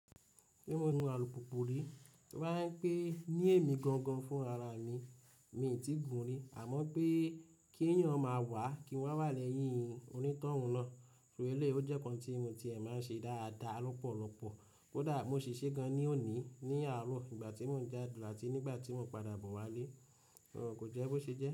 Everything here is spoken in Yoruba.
Bí mo ń nu alùpùpù rí, Rárá pé ni èmi gangan fún ara mi, mi ò tíì gùn rí àmọ́ pé kí ẹ̀yàn máa wá, kí wọ́n wá lẹ́yìn onítọ̀hún náà, ṣọ é lé, ó jẹ́ ohun tí mo ti ẹ̀ máa ń ṣe dáadáa lọ́pọ̀lọpọ̀, kódà mo ṣèṣe gan ní òní ní àárọ̀ ìgbà tí mò ń jádù áti nígbà tí mo ń padà bọ̀ wálé, òun kò jẹ́ bó ṣe jẹ́